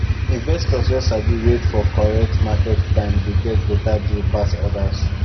investors wey sabi wait for correct market time dey get better deal pass others